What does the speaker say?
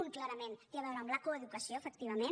un clarament té a veure amb la coeducació efectivament